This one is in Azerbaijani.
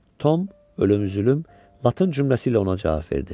Tom ölüm, zülüm latın cümləsi ilə ona cavab verdi.